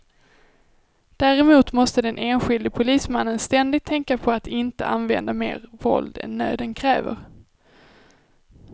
Däremot måste den enskilde polismannen ständigt tänka på att inte använda mer våld än nöden kräver.